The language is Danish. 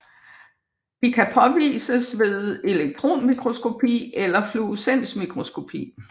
De kan påvises ved elektronmikroskopi eller fluorescensmikroskopi